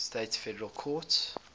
states federal courts